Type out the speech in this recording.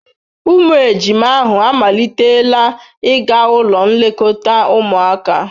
Ụmụ ejima ahụ amalitela ịga ụlọ nlekọta ụmụaka.